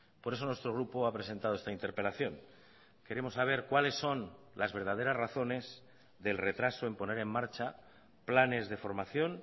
por eso nuestro grupo ha presentado esta interpelación queremos saber cuáles son las verdaderas razones del retraso en poner en marcha planes de formación